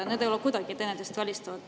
Need ei ole kuidagi teineteist välistavad.